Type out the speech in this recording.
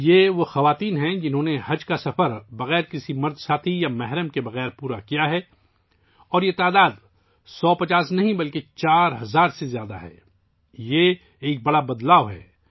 یہ وہ عورتیں ہیں ، جنہوں نے بغیر کسی مرد ساتھی یا محرم کے حج کیا ہے اور ان کی تعداد پچاس یا سو نہیں بلکہ چار ہزار سے زیادہ ہے، یہ بہت بڑی تبدیلی ہے